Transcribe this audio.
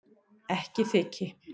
Ekki þyki